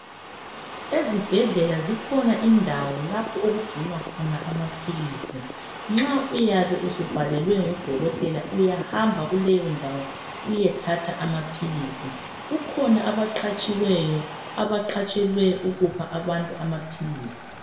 Ezibhedlela kukhona indawo lapho okungcinwa khona amapills nxa uyabe usubhalelwe ngudokotela uyahamba kuleyo ndawo uyethatha amapills kukhona abaqhatshiweyo abaqhatshelwe ukuphabantu amapills